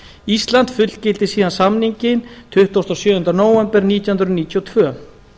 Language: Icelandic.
ísland fullgilti síðan samninginn tuttugasta og sjöunda nóvember nítján hundruð níutíu og tvö